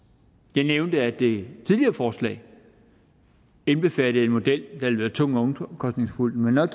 nævnte at det tidligere forslag indbefattede en model der ville være tung og omkostningsfuld men når